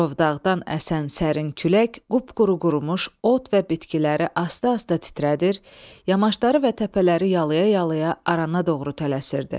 Murovdağdan əsən sərin külək qupquru qurumuş ot və bitkiləri asta-asta titrədir, yamaşları və təpələri yalaya-yalaya arana doğru tələsirdi.